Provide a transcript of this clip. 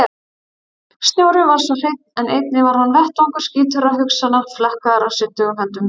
Snjórinn var svo hreinn en einnig hann var vettvangur skítugra hugsana, flekkaður af syndugum höndum.